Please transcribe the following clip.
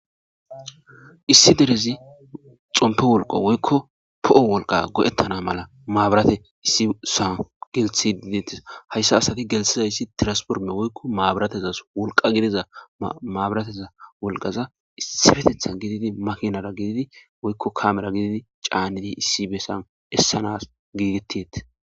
Issi derezi xompe wolaqa woyko po'o wolqa go'etana mala mabirate issi sowani geliithide detesi.haysa asati gelthizaysi transformer woyko mabiratezasi wolqa gidiza mabirateza wolqaza issipetethani gididi makinara gidid woyko kamera gidid caanidi issi besani esanasi giigeteyesi.